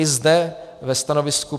I zde ve stanovisku